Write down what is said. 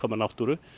náttúru